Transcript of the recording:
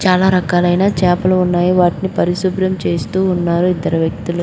చాలా రకాలైన చేపలు ఉన్నాయి. వాటిని పరిశుభ్రం చేస్తూ ఉన్నారు ఇద్దరు వ్యక్తులు.